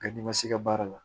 Nka n'i ma se ka baara la